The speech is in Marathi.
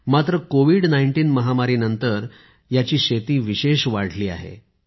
मात्र कोविड 19 महामारी नंतर याची शेती विशेष वाढली आहे